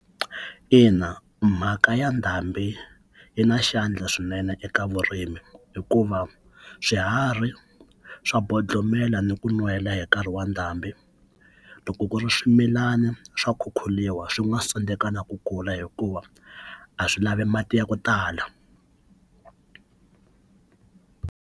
Ina mhaka ya ndhambi yi na xandla swinene eka vurimi hikuva swiharhi swa bodlomela ni ku nwela hi nkarhi wa ndhambiloko ku ri swimilana swa khukhuriwa swi nga se tekana ku kula hikuva a swi lavi mati ya ku tala.